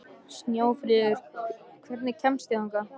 Snjáfríður, hvernig kemst ég þangað?